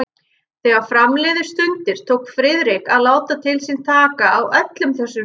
Þegar fram liðu stundir, tók Friðrik að láta til sín taka á öllum þessum sviðum.